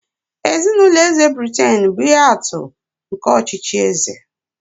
Ezinụlọ eze Britain bụ ihe atụ nke ọchịchị eze.